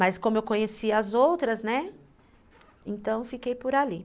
Mas como eu conhecia as outras, né, então fiquei por ali.